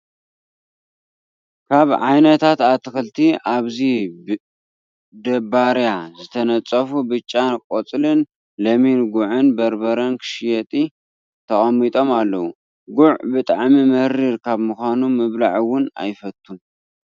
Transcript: ካብ ዓይነታት ኣትክልቲ ኣብዚ ብደባርያ ተነፂፉ ብጫን ቆፃልን ለሚን ጉዕ በርበር ክሽየጢ ተቀሚጦም ኣለው። ጉዕ ብጣዕሚ መሪር ካብ ምኳኑ ምብላዕ እውን ኣይፈቱን።